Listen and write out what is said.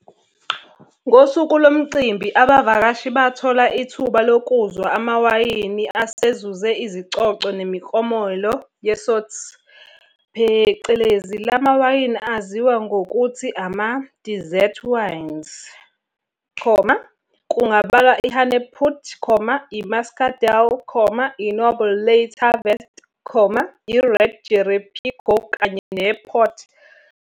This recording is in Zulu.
Ngosuku lomcimbi abavakashi bathola ithuba lokuzwa amawayini asezuze izicoco nemiklomelo yeSoetes phecelezi lamawayini aziwa ngokuthi amadesserts wines, kungabalwa iHanepoot, iMuscadel, iNoble Late Harvest, iRed Jerepigo kanye nePort.